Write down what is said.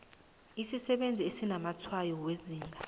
isisebenzi esinamatshwayo wezinga